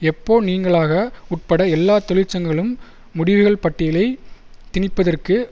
எப்ஓ நீங்கலாக உட்பட எல்லா தொழிற்சங்கங்களும் முடிவுகள் பட்டியலை திணிப்பதற்கு